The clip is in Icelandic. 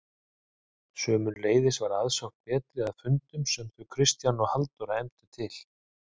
Sömuleiðis var aðsókn betri að fundum sem þau Kristján og Halldóra efndu til.